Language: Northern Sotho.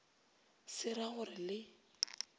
se ra go re le